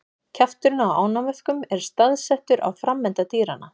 Kjafturinn á ánamöðkum er staðsettur á framenda dýranna.